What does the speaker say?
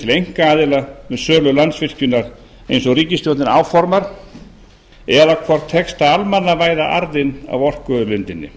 einkaaðila um sölu landsvirkjunar eins og ríkisstjórnin áformar eða hvort tekst að almannavæða arðinn af orkuauðlindinni